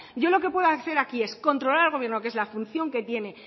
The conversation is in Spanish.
yo lo que puedo hacer aquí es controlar al gobierno que es la función que tiene